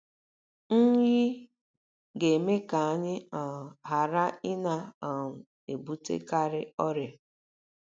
NYỊ GA - EME KA ANYỊ um GHARA ỊNA um - EBUTEKARỊ ỌRỊA